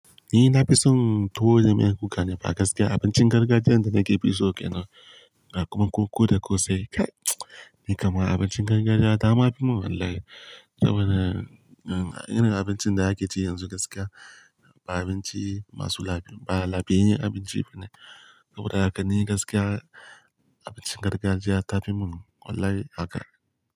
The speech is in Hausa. Ni na fi son tuwo da miyan kuka ne fa gaskiya. Abincin gargajiya da nake fi so ke nan, kuma ko da ko sai. Ni kama abincin gargajiya ta ma fi mun wallahi. Saboda irin abincin da ake ci yanzu gaskiya ba abinci masu lafiya ba, lafiyayyen abinci ba ne. Saboda haka ni gaskiya abincin gargajiya ta fi mun wallahi haka.